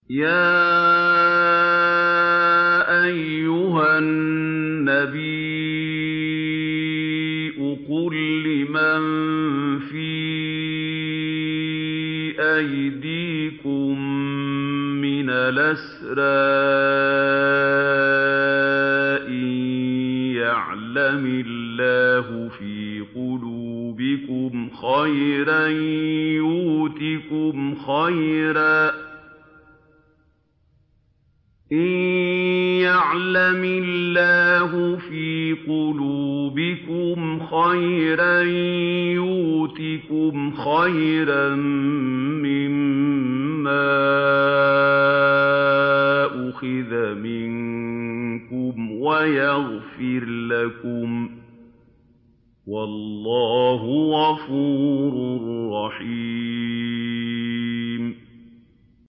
يَا أَيُّهَا النَّبِيُّ قُل لِّمَن فِي أَيْدِيكُم مِّنَ الْأَسْرَىٰ إِن يَعْلَمِ اللَّهُ فِي قُلُوبِكُمْ خَيْرًا يُؤْتِكُمْ خَيْرًا مِّمَّا أُخِذَ مِنكُمْ وَيَغْفِرْ لَكُمْ ۗ وَاللَّهُ غَفُورٌ رَّحِيمٌ